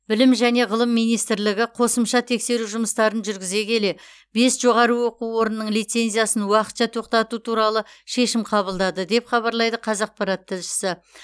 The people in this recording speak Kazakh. білім және ғылым министрлігі қосымша тексеру жұмыстарын жүргізе келе бес жоғары оқу орнының лицензиясын уақытша тоқтату туралы шешім қабылдады деп хабарлайды қазақпарат тілшісі